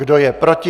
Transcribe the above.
Kdo je proti?